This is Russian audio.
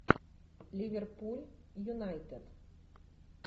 ливерпуль юнайтед